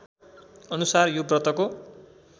अनुसार यो व्रतको